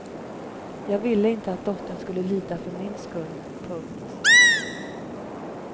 Jag ville inte att dottern skulle lida för min skull. punkt